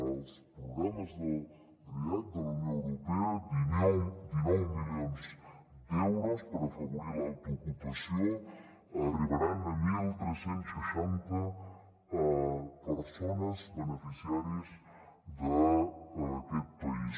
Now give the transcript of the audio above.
hi ha els programes react de la unió europea dinou milions d’euros per afavorir l’autoocupació arribaran a tretze seixanta persones beneficiàries d’aquest país